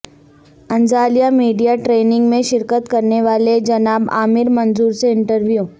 Antalya media training میں شرکت کرنے والے جناب عامر منظور سے انٹرویو